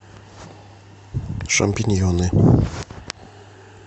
шампиньоны